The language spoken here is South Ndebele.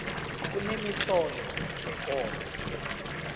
kunemitlolo wekolo